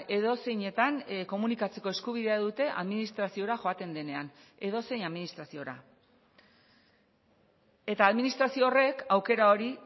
edozeinetan komunikatzeko eskubidea dute administraziora joaten denean edozein administraziora eta administrazio horrek aukera hori